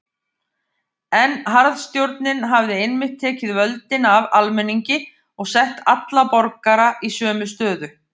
En harðstjórnin hafði einmitt tekið völdin af almenningi og sett alla borgara í sömu stöðu.